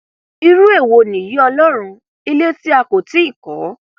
irú èwo nìyí ọlọrun ilé tí a kò tí ì kọ